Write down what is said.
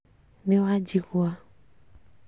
Nĩ wanjigua